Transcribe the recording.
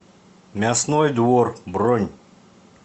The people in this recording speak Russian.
мясной двор бронь